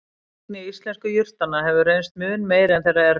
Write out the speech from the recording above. Virkni íslensku jurtanna hefur reynst mun meiri en þeirra erlendu.